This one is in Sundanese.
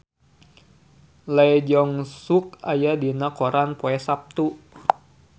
Lee Jeong Suk aya dina koran poe Saptu